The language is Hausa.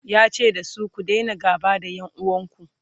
yace dasu " ku Daina gaba da ƴan uwanku!"